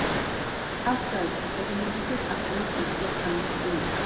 outside i go meditate and connect with di earth and my spirit